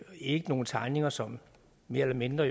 ikke nogle tegninger som mere eller mindre